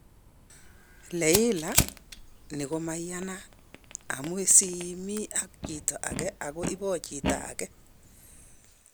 Leila:" Ni komeyanat, amune sii imi ak chito age ago ibo chi age